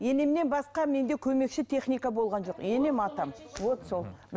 енемнен басқа менде көмекші техника болған жоқ енем атам